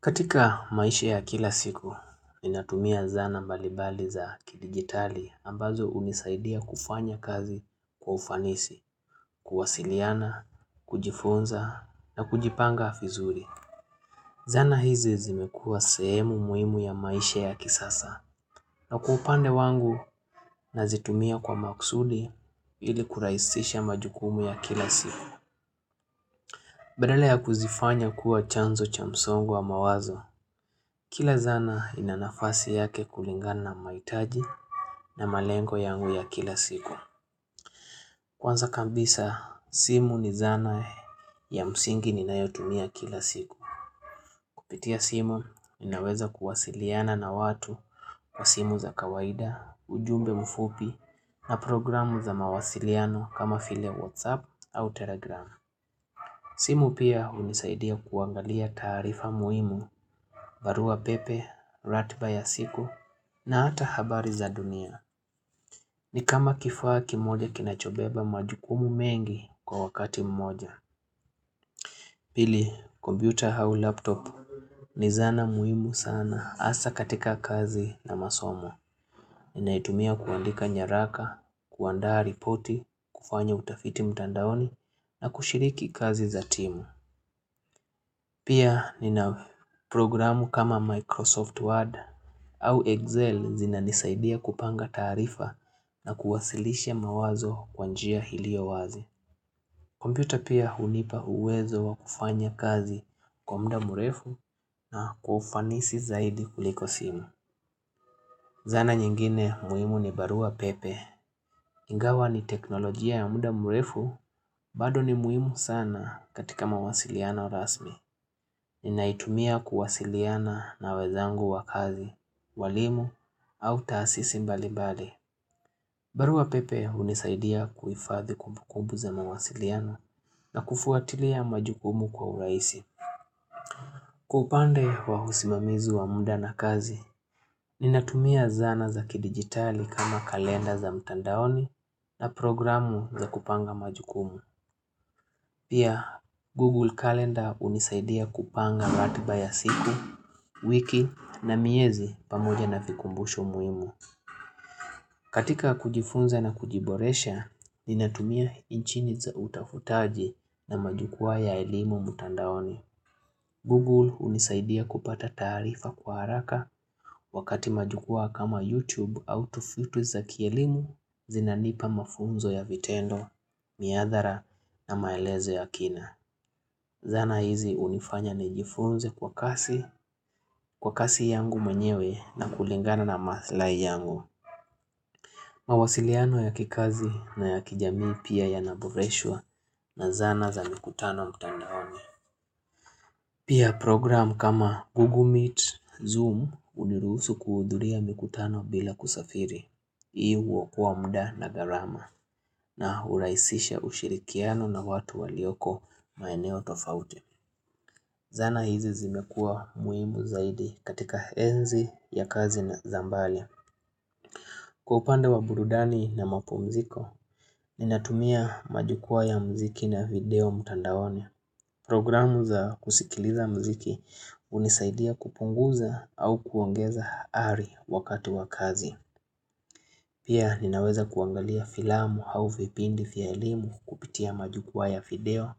Katika maisha ya kila siku, ninatumia zana mbalibali za kidijitali ambazo unisaidia kufanya kazi kwa ufanisi, kuwasiliana, kujifunza na kujipanga vizuri. Zana hizi zimekua sehemu muhimu ya maisha ya kisasa na kwa upande wangu nazitumia kwa maksuli ili kuraisisha majukumu ya kila siku. Badala ya kuzifanya kuwa chanzo cha msongo wa mawazo, kila zana inanafasi yake kulingana maitaji na malengo yangu ya kila siku. Kwanza kabisa, simu ni zana ya msingi ninayotumia kila siku. Kupitia simu, ninaweza kuwasiliana na watu wa simu za kawaida, ujumbe mfupi na programu za mawasiliano kama vile WhatsApp au Telegram. Simu pia hunisaidia kuangalia tarifa muhimu, barua pepe, ratba ya siku, na hata habari za dunia. Ni kama kifaa kimoja kinachobeba majukumu mengi kwa wakati mmoja. Pili, kompyuta hau laptop ni zana muhimu sana asa katika kazi na masomo. Ninaitumia kuandika nyaraka, kuandaa ripoti, kufanya utafiti mtandaoni, na kushiriki kazi za timu. Pia ni na programu kama Microsoft Word au Excel zina nisaidia kupanga taarifa na kuwasilisha mawazo kwa njia hilio wazi. Computer pia hunipa uwezo wa kufanya kazi kwa mda murefu na kwa ufanisi zaidi kuliko simu. Zana nyingine muhimu ni barua pepe. Ingawa ni teknolojia ya mda murefu bado ni muhimu sana katika mawasiliano rasmi. Ninaitumia kuwasiliana na wezangu wa kazi, walimu, au taasisi mbalibali. Barua pepe unisaidia kuifadhi kumbu kumbu za mwasiliano na kufuatilia majukumu kwa uraisi. Kwa upande wa usimamizi wa mda na kazi, ninatumia zana za ki dijitali kama kalenda za mtandaoni na programu za kupanga majukumu. Pia, Google Calendar unisaidia kupanga ratiba ya siku, wiki na miezi pamoja na vikumbusho muhimu. Katika kujifunza na kujiboresha, ninatumia inchini za utafutaji na majukwaa ya elimu mtandaoni. Google unisaidia kupata taarifa kwa haraka wakati majukwaa kama YouTube au tufitu za kielimu zinanipa mafunzo ya vitendo, miadhara na maelezo ya kina. Zana hizi unifanya nijifunze kwa kasi, kwa kasi yangu mwenyewe na kulingana na mathlai yangu. Mawasiliano ya kikazi na ya kijamii pia yanaboreshwa na zana za mikutano mtandaoni. Pia program kama Google Meet, Zoom uniruhusu kuudhuria mikutano bila kusafiri. Hii hukoa mda na garama na uraisisha ushirikiano na watu walioko maeneo tofauti. Zana hizi zimekua muhimu zaidi katika enzi ya kazi na zambali. Kwa upande wa burudani na mapumziko, ninatumia majukwaa ya mziki na video mtandaoni. Programu za kusikiliza mziki unisaidia kupunguza au kuongeza ari wakati wa kazi. Pia ninaweza kuangalia filamu au vipindi vya elimu kupitia majukwaa ya video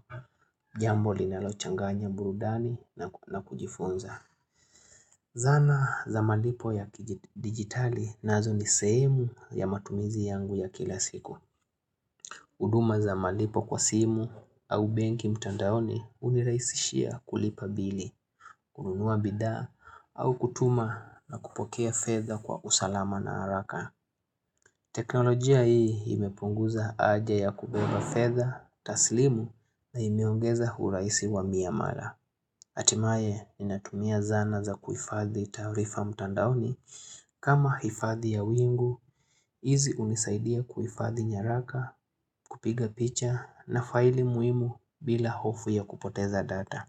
jambo linalochanganya burudani na kujifunza. Zana za malipo ya dijitali nazo ni sehemu ya matumizi yangu ya kila siku. Uduma za malipo kwa simu au benki mtandaoni uniraisishia kulipa bili, kununua bidhaa au kutuma na kupokea fedha kwa usalama na haraka. Teknolojia hii imepunguza aja ya kubeba fedha, taslimu na imeongeza huraisi wa miyamara. Atimae ni natumia zana za kuifadhi tarifa mtandaoni kama hifadhi ya wingu, izi unisaidia kuifadhi nyaraka kupiga picha na faili muhimu bila hofu ya kupoteza data.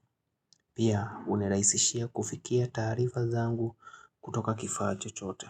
Pia uniraisishia kufikia tarifa zangu kutoka kifaa chochote.